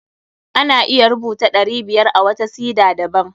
Ana iya rubuta ɗari biyar a wata sida daban.